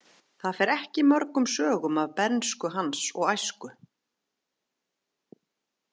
Það fer ekki mörgum sögum af bernsku hans og æsku.